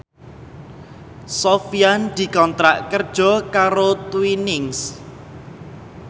Sofyan dikontrak kerja karo Twinings